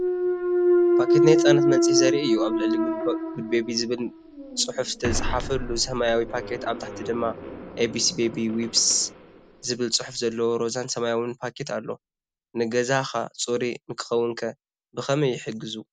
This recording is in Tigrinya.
ፓኬት ናይ ህጻናት መንጽሂ ዘርኢ እዩ። ኣብ ላዕሊ “good baby” ዝብል ጽሑፍ ዝተጻሕፈሉ ሰማያዊ ፓኬት፡ ኣብ ታሕቲ ድማ “abc baby wipes” ዝብል ጽሑፍ ዘለዎ ሮዛን ሰማያውን ፓኬት ኣሎ። ንገዛኻ ጽሩይ ንኽኸውንከ ብኸመይ ይሕግዙ፧